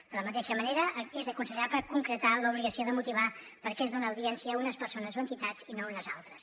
de la mateixa manera és aconsellable concretar l’obligació de motivar per què es dona audiència a unes persones o entitats i no a unes altres